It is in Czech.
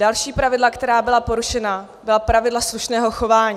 Další pravidla, která byla porušena, byla pravidla slušného chování.